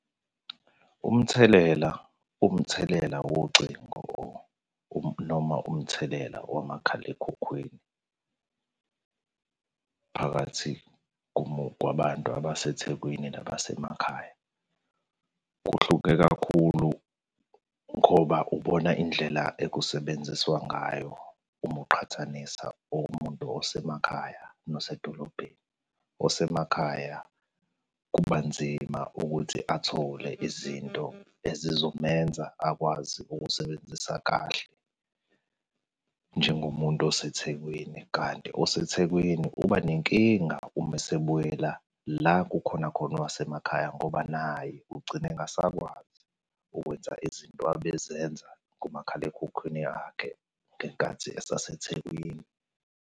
Umthelela uwumthelela wocingo noma uwumthelela wamakhalekhukhwini phakathi kwabantu abaseThekwini nabasemakhaya. Kuhluke kakhulu ngoba ubona indlela ekusebenziswa ngayo uma uqhathanisa umuntu osemakhaya nosedolobheni. Osemakhaya kuba nzima ukuthi athole izinto ezizomenza akwazi ukusebenzisa kahle njengomuntu oseThekwini, kanti oseThekwini uba nenkinga uma esebuyela la kukhona khona owasemakhaya ngoba naye ugcina engasakwazi ukwenza izinto ebezenza kumakhalekhukhwini yakhe ngenkathi eseThekwini.